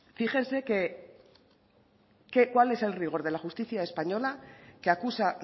fíjense cuál es el rigor de la justicia española que acusa